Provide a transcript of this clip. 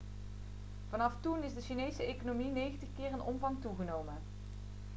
vanaf toen is de chinese economie 90 keer in omvang toegenomen